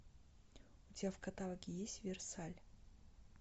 у тебя в каталоге есть версаль